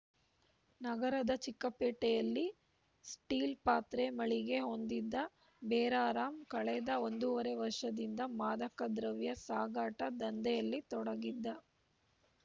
ನಗರದ ಚಿಕ್ಕಪೇಟೆಯಲ್ಲಿ ಸ್ಟೀಲ್‌ ಪಾತ್ರೆ ಮಳಿಗೆ ಹೊಂದಿದ್ದ ಬೇರಾರಾಮ್‌ ಕಳೆದ ಒಂದೂವರೆ ವರ್ಷದಿಂದ ಮಾದಕ ದ್ರವ್ಯ ಸಾಗಾಟ ದಂಧೆಯಲ್ಲಿ ತೊಡಗಿದ್ದ